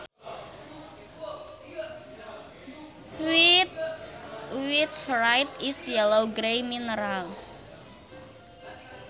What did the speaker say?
Witherite is a yellow grey mineral